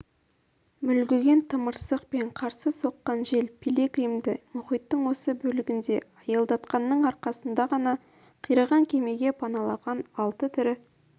мүлгіген тымырсық пен қарсы соққан жел пилигримді мұхиттың осы бөлегінде аялдатқанның арқасында ғана қираған кемеге паналаған алты тірі